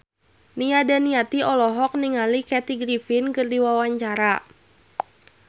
Nia Daniati olohok ningali Kathy Griffin keur diwawancara